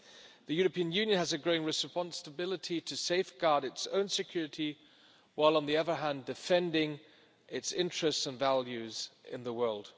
The European Union has a growing responsibility to safeguard its own security, while, on the other hand, defending its interests and values in the world.